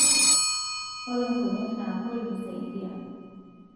ore nkonyek nagol misaidia